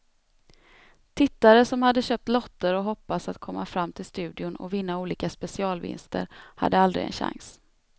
Tittare som hade köpt lotter och hoppats att komma fram till studion och vinna olika specialvinster hade aldrig en chans.